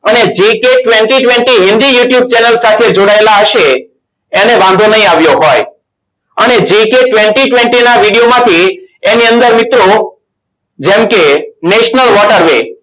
અને jk twenty twenty Hindi youtube channel સાથે જોડાયેલા હશે. એને વાંધો નહીં આવ્યો હોય. અને jk twenty twenty ના video માંથી એની અંદર મિત્રો જેમ કે national water way